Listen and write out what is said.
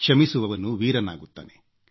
ಕ್ಷಮಿಸುವವನು ವೀರನಾಗುತ್ತಾನೆ